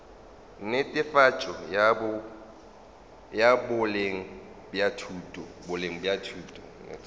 netefatšo ya boleng bja thuto